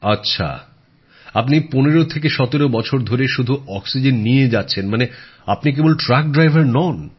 আচ্ছা আপনি এই ১৫১৭ বছর ধরে শুধু অক্সিজেন নিয়ে যাচ্ছেন মানে আপনি কেবল ট্রাক ড্রাইভার নন